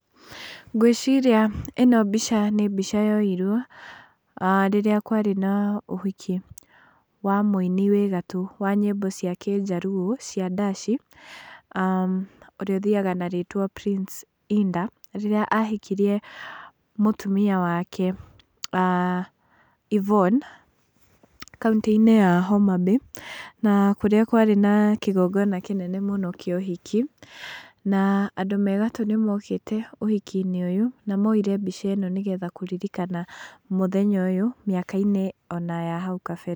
Ngwĩciria ĩno mbica nĩ mbica yoirwo rĩrĩa kwarĩ na ũhiki wa mũini wĩ gatũ wa nyimbo cia Kĩjaruo, cia ndaci ũrĩa ũthiaga na rĩtwa Prince Indah, rĩrĩa ahikirie mũtumia wake Yvone kauntĩ-inĩ ya Homa Bay, na kũrĩa kwarĩ na kigongona kĩnene mũno kĩa ũhiki na andũ me gatũ nĩmokĩte ũhiki-inĩ na moyire mbica ĩno nĩgetha kũririkana mũthenya ũyũ mĩaka-ini ona ya hau kabere.